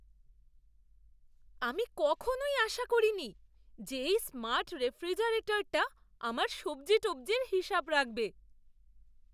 আমি কখনই আশা করিনি যে এই স্মার্ট রেফ্রিজারেটরটা আমার সব্জি টব্জির হিসাব রাখবে।